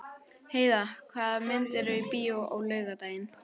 Heida, hvaða myndir eru í bíó á laugardaginn?